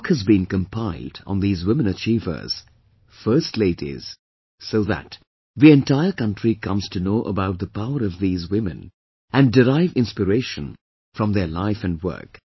A book has beencompiled on these women achievers, first ladies, so that, the entire country comes to know about the power of these women and derive inspiration from their life work